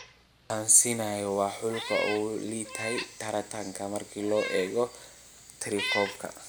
Tansaaniya waa xulka ugu liitay tartanka marka loo eego tirakoobka.